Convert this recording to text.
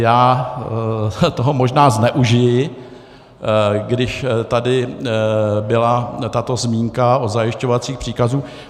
Já toho možná zneužiji, když tady byla tato zmínka o zajišťovacích příkazech.